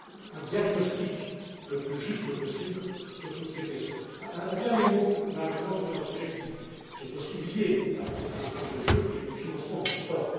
d'abord un diagnostic le plus juste possible sur toutes ces questions. Un dernier mot, Madame la Présidente, sur un sujet qui est aussi lié à cette question des jeux, et qui est le financement du